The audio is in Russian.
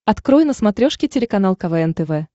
открой на смотрешке телеканал квн тв